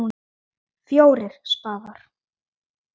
FJÓRIR spaðar.